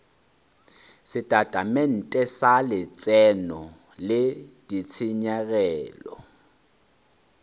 setatamente sa letseno le ditshenyegelo